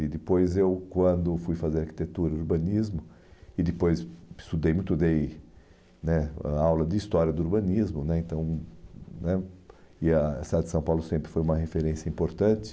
E depois eu, quando fui fazer arquitetura e urbanismo, e depois estudei muito, dei né a aula de história do urbanismo né, então né e a a cidade de São Paulo sempre foi uma referência importante.